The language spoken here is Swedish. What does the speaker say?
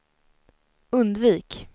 undvik